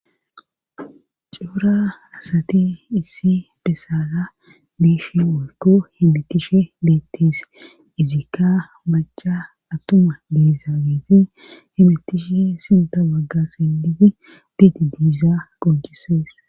cora asati issi bessaara biishe woykko hemmetishe beettes izikka maca attuma be'iza hemmitishe sinta bagga siimmidi gedde biiza qoncisees